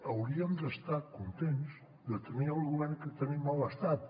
hauríem d’estar contents de tenir el govern que tenim a l’estat